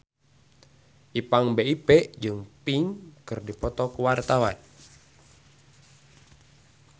Ipank BIP jeung Pink keur dipoto ku wartawan